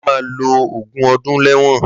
Lagata ma ló ógun ọdun lẹwọn